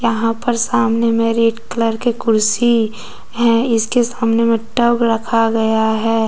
यहां पर सामने में रेड कलर के कुर्सी है इसके सामने में टब रखा गया है।